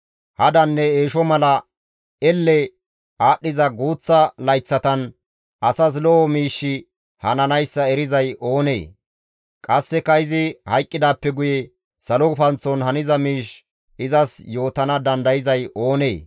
Hadanne eesho mala elle aadhdhiza guuththa layththatan asas lo7o miishshi hananayssa erizay oonee? Qasseka izi hayqqidaappe guye salo gufanththon haniza miish izas yootana dandayzay oonee?